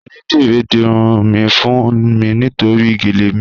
Onídírí n dírun mi fún mi nítorí géle mi.